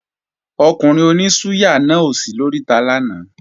Ọkùnrin oní súyà náà ò sí lóríta lánàá